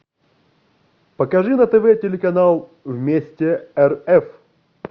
покажи на тв телеканал вместе рф